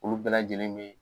Olu bɛɛ lajɛlen be